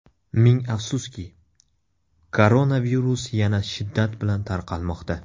Ming afsuski, koronavirus yana shiddat bilan tarqalmoqda.